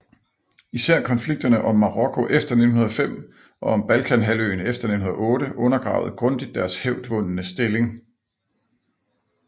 Især konflikterne om Marokko efter 1905 og om Balkanhalvøen efter 1908 undergravede grundigt deres hævdvundne stilling